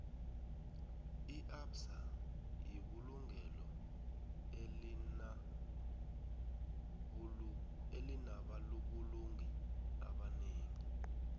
iabsa yibulungelo elina bulungi ebanengi